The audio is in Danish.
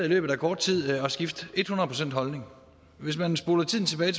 i løbet af kort tid har skifte et hundrede procent holdning hvis man spoler tiden tilbage